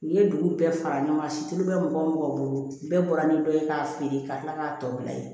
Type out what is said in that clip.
U ye dugu bɛɛ fara ɲɔgɔn kan situ bɛ mɔgɔ o mɔgɔ bolo bɛɛ bɔra ni dɔ ye k'a feere ka tila k'a tɔ bila ye